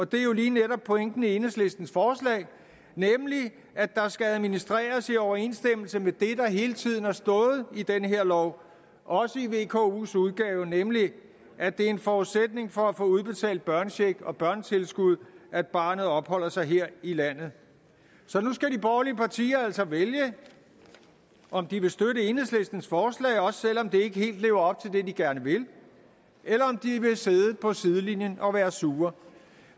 det er lige netop pointen i enhedslistens forslag nemlig at der skal administreres i overensstemmelse med det der hele tiden har stået i den her lov også i vkos udgave nemlig at det er en forudsætning for at få udbetalt børnecheck og børnetilskud at barnet opholder sig her i landet så nu skal de borgerlige partier altså vælge om de vil støtte enhedslistens forslag også selv om det ikke helt lever op til det de gerne vil eller om de vil sidde på sidelinjen og være sure